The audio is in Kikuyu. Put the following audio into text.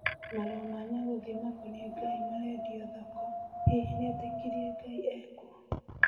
Marũa ma Nyagũthiĩ makonĩe ngai marendio thoko, hihi nĩetĩkirĩe ngai ekuo?